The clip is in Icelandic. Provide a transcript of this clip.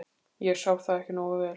ég sá það ekki nógu vel.